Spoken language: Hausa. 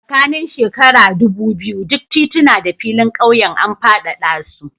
Tsakanin shekara ɗubu biyu duk tituna da filin ƙauyen an faɗaɗa su.